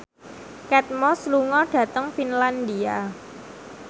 Kate Moss lunga dhateng Finlandia